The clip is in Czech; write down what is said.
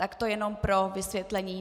Tak to jen pro vysvětlení.